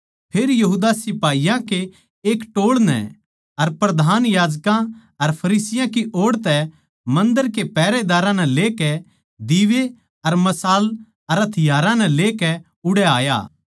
फेर यहूदा सिपाहीयाँ कै एक टोळ नै अर प्रधान याजकां अर फरिसियाँ की ओड़ तै मन्दर के पैहरेदारां नै लेकै दीवे अर मशाल अर हथियारां नै लेकै उड़ै आया